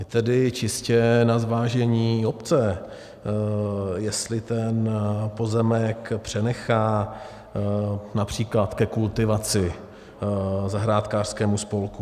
Je tedy čistě na zvážení obce, jestli ten pozemek přenechá například ke kultivaci zahrádkářskému spolku.